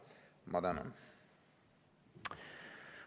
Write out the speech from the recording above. Ma tänan!